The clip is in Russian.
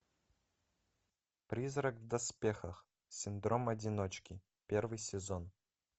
призрак в доспехах синдром одиночки первый сезон